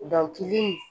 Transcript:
Dɔnkili